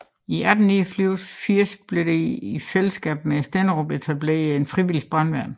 I 1889 blev der i fælleskab med Stenderup etableret et frivilligt brandværn